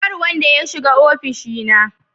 Nobody should enter my office